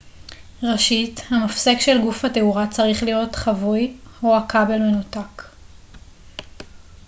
ראשית המפסק של גוף התאורה צריך להיות כבוי או הכבל מנותק